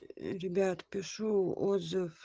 ребят пишу отзыв